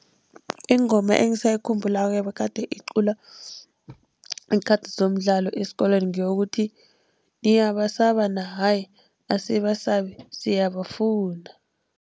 Ingoma engisayikhumbulako ebegade iculwa ngeenkhathi zomdlalo esikolweni ngeyokuthi, niyaba saba na hayi asibasabi siyabafuna!